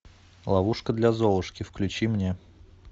ловушка для золушки включи мне